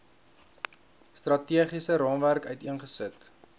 strategiese raamwerk uiteengesit